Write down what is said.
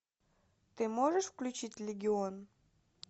ты можешь включить легион